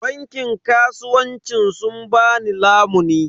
Bankin kasuwancin sun ba ni lamuni.